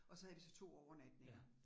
Og så havde vi så 2 overnatninger